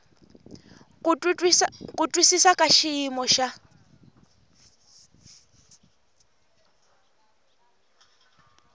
ku twisisa ka xiyimo xa